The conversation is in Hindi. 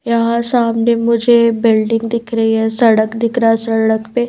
यहां सामने मुझे बिल्डिंग दिख रही है सड़क दिख रहा है सड़क पे--